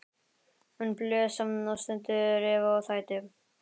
Hún blés og stundi, reif og tætti.